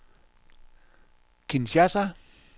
Kinshasa